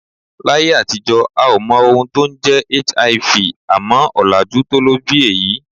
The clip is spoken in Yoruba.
Láyé àtijọ́ a ò mọ ohun tó ń jẹ́ HIV, àmọ́ ọ̀làjú tó ló bí èyí